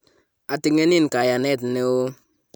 ating'enin kayanet neoo